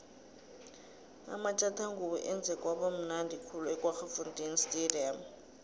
amatjathangubo enze kwaba mnundi khulu ekwaggafontein stadium